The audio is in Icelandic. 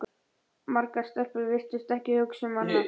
Margar stelpur virtust ekki hugsa um annað.